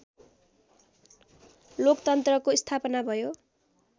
लोकतन्त्रको स्थापना भयो